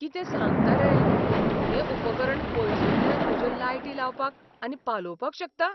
कितें सांगता रे! हें उपकरण पयसुल्ल्यान म्हज्यो लायटी लावपाक आनी पालोवपाक शकता?